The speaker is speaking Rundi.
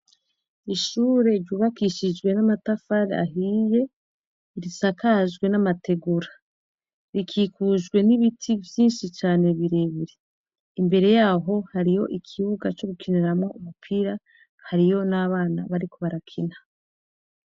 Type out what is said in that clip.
Ishure ryubakishijwe n'amatafari ahiiye risakajwe n'amategura rikikujwe n'ibiti vyinshi cane birebire imbere yaho hariyo ikibuga co gukiniramwa umupira hariyo n'abana bariko barakina.